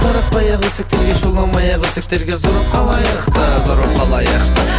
таратпай ақ өсектерге жоламай ақ өсектерге зор болып қалайық та зор болып қалайық